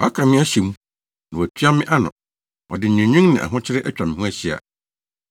Waka me ahyɛ mu, na watua me ano ɔde nweenwen ne ahokyere atwa me ho ahyia.